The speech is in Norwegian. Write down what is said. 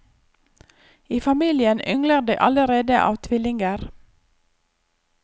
I familien yngler det allerede av tvillinger.